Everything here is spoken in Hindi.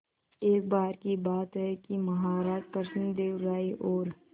एक बार की बात है कि महाराज कृष्णदेव राय और